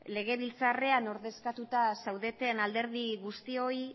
legebiltzarrean ordezkatuta zaudeten alderdi guztioi